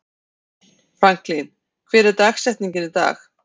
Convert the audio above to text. Franklin, hver er dagsetningin í dag?